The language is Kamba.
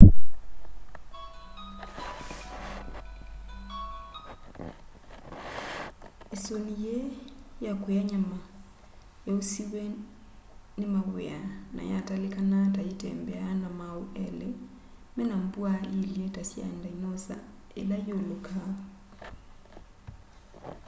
isuni yii ya kuya nyama yausiwe ni maw'ia na yatalikanaa ta yitembeaa na maau eli mena mbwaa iilye ta sya ndinosa ila iulukaa